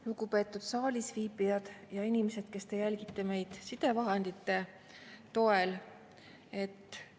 Lugupeetud saalis viibijad ja inimesed, kes te jälgite meid sidevahendite toel!